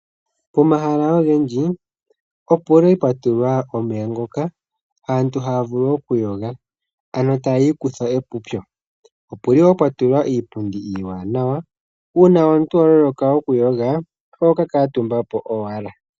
Pomahala ogendji opuli pwatulwa omeya ngoka aantu haavulu okuyoga, ano tayiikutha epupyo. Opuli wo pwatulwa iipundi iiwanayo uuna waloloka okuyoga, ohoka kaatumbapo owala.